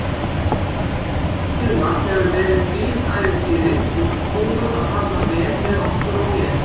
Þetta sumar hefur verið þvílíkt ævintýri og búið að falla vel með okkur og mér.